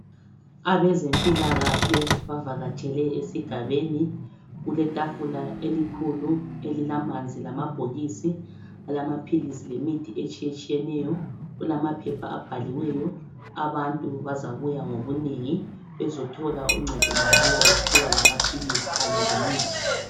Abezempilakahle bavakatshele esigabeni kule tafula elikhulu elilamanzi lamabhokisi alamaphilisi lemithi etshiyetshiyeneyo kulamaphepha abhaliweyo abantu bazabuya ngobunengi bezothola uncedo mahala bephiwa lamaphilisi kanye lemithi.